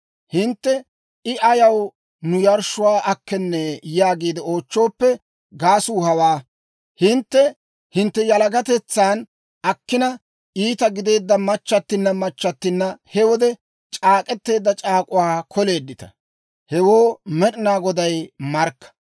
Hintte, «I ayaw nu yarshshuwaa akkenee?» yaagiide oochchooppe, gaasuu hawaa: hintte hintte yalagatetsan akkina itta gideedda machchattinna machchattinna he wode c'aak'k'eteedda c'aak'uwaa koleeddita; Hewoo Med'ina Goday markka.